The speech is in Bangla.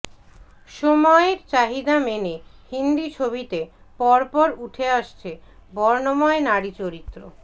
সময়ের চাহিদা মেনে হিন্দি ছবিতে পরপর উঠে আসছে বর্ণময় নারী চরিত্র